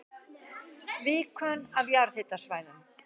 Líkön af jarðhitasvæðum